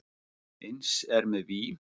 Eins er með vín.